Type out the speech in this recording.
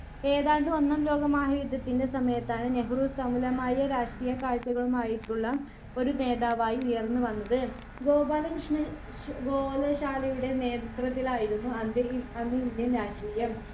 ഏതാണ്ട് ഒന്നാം ലോക മഹായുദ്ധത്തിന്റെ സമയത്താണ് നെഹ്‌റു സമുലമായ രാഷ്ട്രീയക്കാഴ്ചകളുമായിട്ടുള്ള ഒരു നേതാവായി ഉയർന്നു വന്നത് ഗോപാലകൃഷ്ണൻ ശ് ഗോലശാലയുടെ നേത്രത്വത്തിലായിരുന്നു അന്ത് അന്ന് ഈ indian രാഷ്ട്രീയം